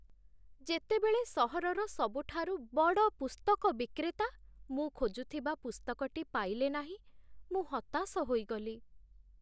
ଯେତେବେଳେ ସହରର ସବୁଠାରୁ ବଡ଼ ପୁସ୍ତକ ବିକ୍ରେତା ମୁଁ ଖୋଜୁଥିବା ପୁସ୍ତକଟି ପାଇଲେ ନାହିଁ, ମୁଁ ହତାଶ ହୋଇଗଲି।